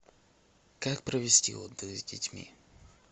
как провести отдых с детьми